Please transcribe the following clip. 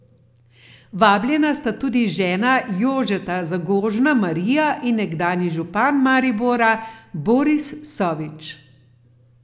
Vabljena sta tudi žena Jožeta Zagožna Marija in nekdanji župan Maribora Boris Sovič.